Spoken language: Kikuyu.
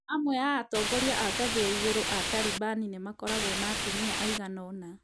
Amwe a atongoria a ngathĩ ya igũrũ a Talibani nĩ makoragwo na atumia aigana ũna.